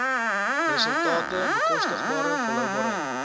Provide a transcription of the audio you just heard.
resultate bekostigbare volhoubaarheid